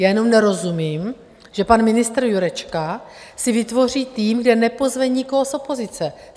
Já jenom nerozumím, že pan ministr Jurečka si vytvoří tým, kam nepozve nikoho z opozice.